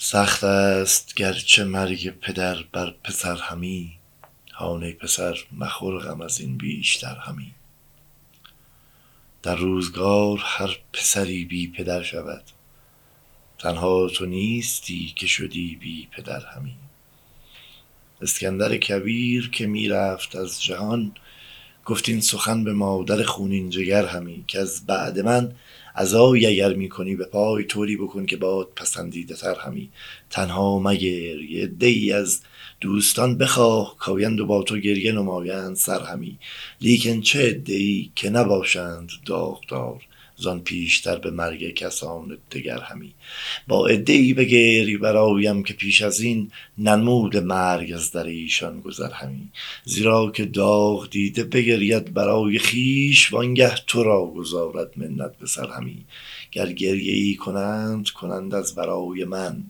سخت است گرچه مرگ پدر بر پسر همی هان ای پسر مخور غم از این بیشتر همی در روزگار هر پسری بی پدر شود تنها تو نیستی که شدی بی پدر همی اسکندر کبیر که می رفت از جهان گفت این سخن به مادر خونین جگر همی کز بعد من عزایی اگر می کنی به پای طوری بکن که باد پسندیده تر همی تنها مگری عده ای از دوستان بخواه کآیند و با تو گریه نمایند سر همی لیکن چه عده ای که نباشند داغدار زان بیشتر به مرگ کسان دگر همی با عده ای بگری برایم که پیش از این ننموده مرگ از در ایشان گذر همی زیرا که داغدیده بگرید برای خویش وانگه تو را گذارد منت به سر همی گر گریه ای کنند کنند از برای من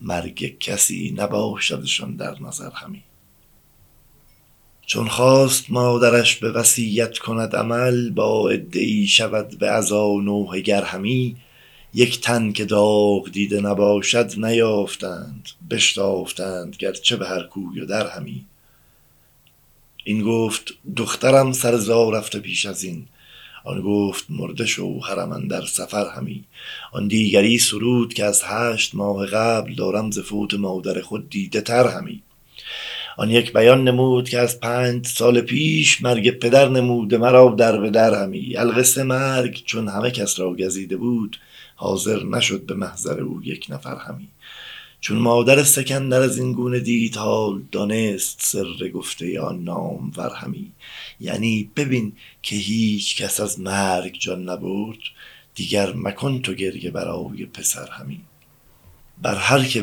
مرگ کسی نباشدشان در نظر همی چون خواست مادرش به وصیت کند عمل با عده ای شود به عزا نوحه گر همی یک تن که داغ دیده نباشد نیافتند بشتافتند گرچه به هر کوی و در همی این گفت دخترم سر زا رفته پیش از این آن گفت مرده شوهرم اندر سفر همی آن دیگری سرود که از هشت ماه قبل دارم ز فوت مادر خود دیده تر همی آن یک بیان نمود که از پنج سال پیش مرگ پدر نموده مرا دربه در همی القصه مرگ چون همه کس را گزیده بود حاضر نشد به محضر او یک نفر همی چون مادر سکندر از این گونه دید حال دانست سر گفته آن نامور همی یعنی ببین که هیچکس از مرگ جان نبرد دیگر مکن تو گریه برای پسر همی بر هر که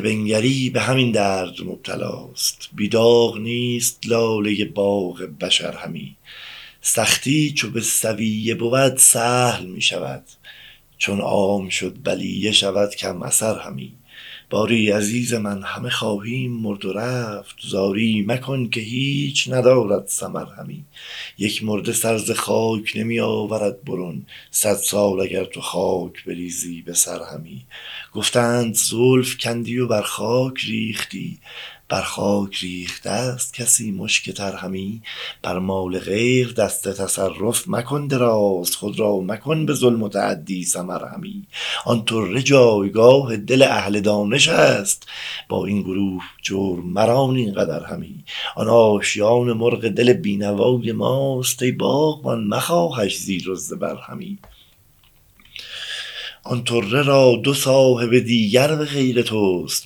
بنگری به همین درد مبتلاست بی داغ نیست لاله باغ بشر همی سختی چو بالسویه بود سهل می شود چون عام شد بلیه شود کم اثر همی باری عزیز من همه خواهیم مرد و رفت زاری مکن که هیچ ندارد ثمر همی یک مرده سر ز خاک نمی آورد برون صد سال اگر تو خاک بریزی به سر همی گفتند زلف کندی و بر خاک ریختی بر خاک ریخته ست کسی مشک تر همی بر مال غیر دست تصرف مکن دراز خود را مکن به ظلم و تعدی سمر همی آن طره جایگاه دل اهل دانشست با این گروه جور مران اینقدر همی آن آشیان مرغ دل بینوای ماست ای باغبان مخواهش زیر و زبر همی آن طره را دو صاحب دیگر به غیر توست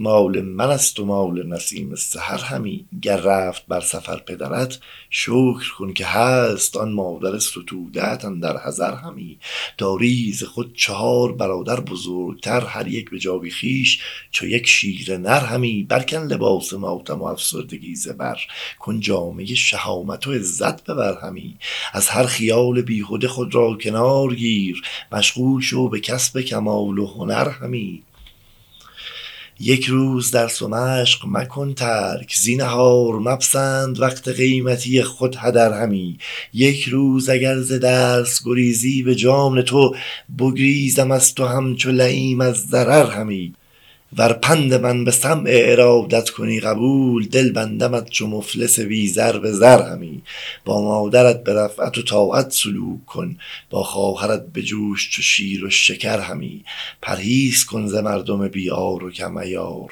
مال منست و مال نسیم سحر همی گر رفت بر سفر پدرت شکر کن که هست آن مادر ستوده ات اندر حضر همی داری ز خود چهار برادر بزرگتر هر یک به جای خویش چو یک شیر نر همی بر کن لباس ماتم و افسردگی ز بر کن جامۀ شهامت و عزت به بر همی از هر خیال بیهده خود را کنار گیر مشغول شو به کسب کمال و هنر همی یک روز درس و مشق مکن ترک زینهار مپسند وقت قیمتی خود هدر همی یکروز اگر ز درس گریزی به جان تو بگریزم از تو همچو لییم از ضرر همی ور پند من به سمع ارادت کنی قبول دل بندمت چو مفلس بی زر به زر همی با مادرت به رأفت و طاعت سلوک کن با خواهرت بجوش چو شیر و شکر همی پرهیز کن ز مردم بی عار و کم عیار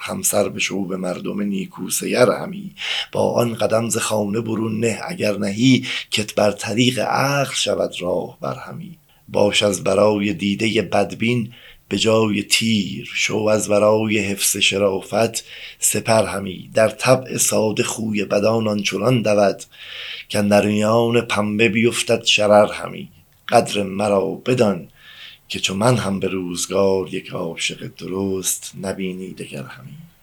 همسر بشو به مردم نیکو سیر همی با آن قدم ز خانه برون نه اگر نهی کت بر طریق عقل شود راهبر همی باش از برای دیده بدبین به جای تیر شو از برای حفظ شرافت سپر همی در طبع ساده خوی بدان آنچنان دود کاندر میان پنبه بیفتد شرر همی قدر مرا بدان که چو من هم به روزگار یک عاشق درست نبینی دگر همی